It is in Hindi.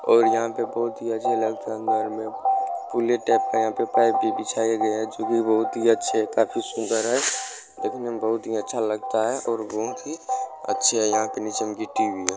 और यहां पे बहुत ही अच्छे लगता अंदर में पुले टाइप का यहां पे पाइप भी बिछाया गया है जो कि बहुत ही अच्छे काफी सुन्दर है देखने में बहुत ही अच्छा लगता है और बहुत ही अच्छे है यहां पे नीचे में गिट्टी भी है।